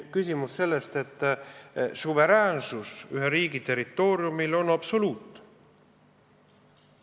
Suveräänsus ühe riigi territooriumil on absoluut.